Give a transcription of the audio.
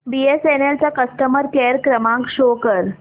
BSNL चा customer care क्रमांक show कर